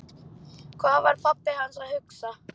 Hvað var pabbi hans að hugsa?